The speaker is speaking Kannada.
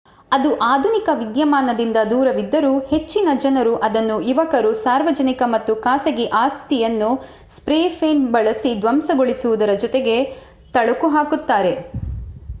ಇದು ಆಧುನಿಕ ವಿದ್ಯಮಾನದಿಂದ ದೂರವಿದ್ದರೂ ಹೆಚ್ಚಿನ ಜನರು ಇದನ್ನು ಯುವಕರು ಸಾರ್ವಜನಿಕ ಮತ್ತು ಖಾಸಗಿ ಆಸ್ತಿಯನ್ನು ಸ್ಪ್ರೇ ಪೇಂಟ್ ಬಳಸಿ ಧ್ವಂಸಗೊಳಿಸುವುದರ ಜೊತೆಗೆ ತಳುಕು ಹಾಕುತ್ತಾರೆ